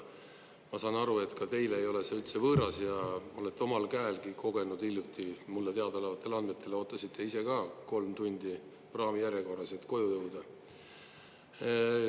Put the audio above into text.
Ma saan aru, et ka teile ei ole see üldse võõras ja olete omal käelgi kogenud hiljuti, mulle teada olevatel andmetel, ootasite ise ka kolm tundi praamijärjekorras, et koju jõuda.